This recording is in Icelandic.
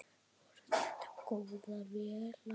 Voru þetta góðar vélar?